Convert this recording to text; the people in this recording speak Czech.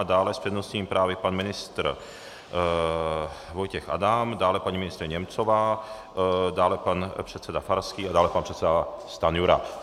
A dále s přednostními právy pan ministr Vojtěch Adam, dále paní ministryně Němcová, dále pan předseda Farský a dále pan předseda Stanjura.